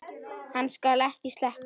Hann skal ekki sleppa!